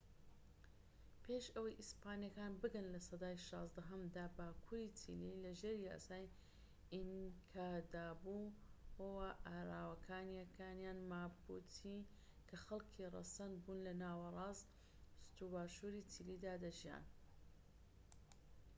پێش ئەوەی ئیسپانیەکان بگەن لە سەدای شازدەهەمدا، باکوری چیلی لەژێر یاسای ئینکادابوو وە ئاراوکانیەکان ماپوچی کە خەلکی رەسەن بوون لە ناوەراست و باشوری چیلیدا دەژیان